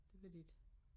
Det vil de ikke